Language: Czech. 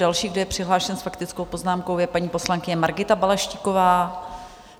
Další, kdo je přihlášen s faktickou poznámkou, je paní poslankyně Margita Balaštíková.